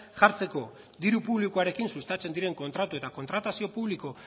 jartzeko diru publikoarekin sustatzen diren kontratu eta kontratazio publiko